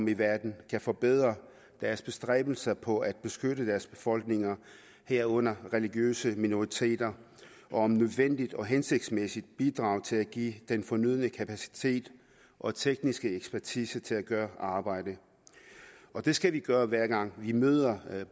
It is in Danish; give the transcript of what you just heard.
i verden kan forbedre deres bestræbelser på at beskytte deres befolkninger herunder religiøse minoriteter og om nødvendigt hensigtsmæssigt bidrage til at give den fornødne kapacitet og tekniske ekspertise til at gøre arbejdet det skal vi gøre hver gang vi møder